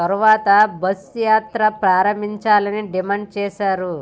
తర్వాతే బస్సు యాత్ర ప్రారంభించాలని డిమాండ్ చేశారు